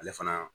Ale fana